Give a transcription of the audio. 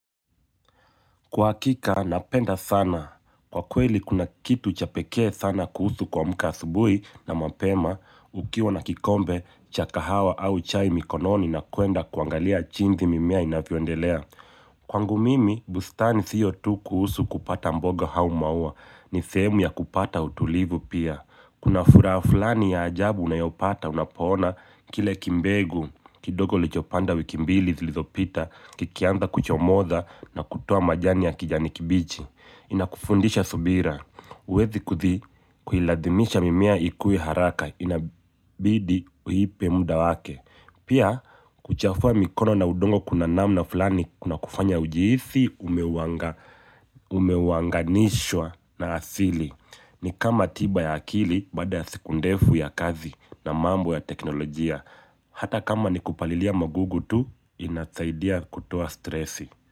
Kwa hakika, napenda sana. Kwa kweli, kuna kitu cha pekee sana kuhusu kuamka asubuhi na mapema, ukiwa na kikombe, cha kahawa au chai mikononi na kuenda kuangalia jinsi mimea inavyoendelea. Kwangu mimi, bustani siyo tu kuhusu kupata mboga au maua, ni sehemu ya kupata utulivu pia. Kuna furaha fulani ya ajabu unayopata unapoona kile kimbegu kidogo ulichopanda wiki mbili zilizopita kikianza kuchomoza na kutoa majani ya kijani kibichi. Inakufundisha subira huwezi kuilazimisha mimea ikue haraka inabidi uipe muda wake pia kuchafua mikono na udongo kuna namna fulani kuna kufanya ujihisi umewanganishwa na asili ni kama tiba ya akili baada ya siku ndefu ya kazi na mambo ya teknolojia. Hata kama ni kupalilia magugu tu, inasaidia kutoa stresi.